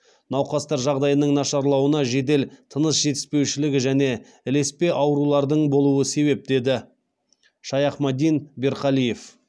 науқастар жағдайының нашарлауына жедел тыныс жетіспеушілігі және ілеспе аурулардың болуы себеп деді шайахмадин берқалиев